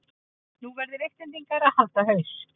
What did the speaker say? Nú verða Íslendingar að halda haus